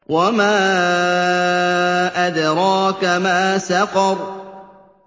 وَمَا أَدْرَاكَ مَا سَقَرُ